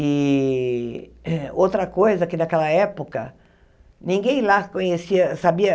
E outra coisa, que naquela época, ninguém lá conhecia, sabia.